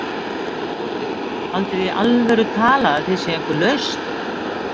Björk Vilhelmsdóttir: Haldið þið í alvöru talað að þið séuð einhver lausn?